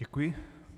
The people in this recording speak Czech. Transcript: Děkuji.